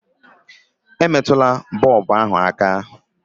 Emetụla bọlbụ ahụ aka!